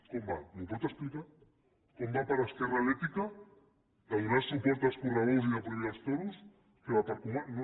com va m’ho pot explicar com va per esquerra l’ètica de donar suport als correbous i de prohibir els toros que va per comarques